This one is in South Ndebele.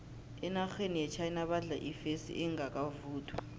enarheni yechina badla ifesi engakavuthwa